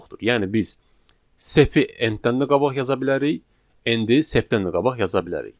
Yəni biz sep-i n-dən də qabaq yaza bilərik, n-i sep-dən də qabaq yaza bilərik.